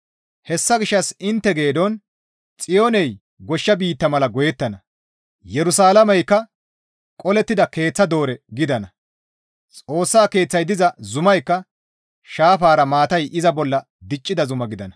Hessa gishshas intte geedon Xiyooney goshsha biitta mala goyettana; Yerusalaameykka qolettida keeththa doore gidana; Xoossa Keeththay diza zumaykka sharafa maatay iza bolla diccida zuma gidana.